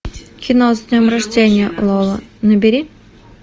кино с днем рождения лола набери